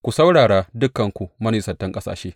Ku saurara, dukanku manisantan ƙasashe.